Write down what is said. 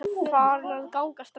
Farin að ganga strax!